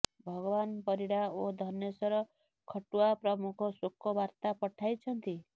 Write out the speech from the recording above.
ଭଗବାନ ପରିଡା ଓ ଧନେଶ୍ୱର ଖଟୁଆ ପ୍ରମୁଖ ଶୋକବାର୍ତ୍ତା ପଠାଇଛନ୍ତି